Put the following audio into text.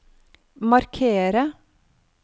markere